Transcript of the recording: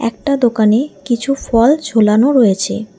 একটা দোকানে কিছু ফল ঝোলানো রয়েছে।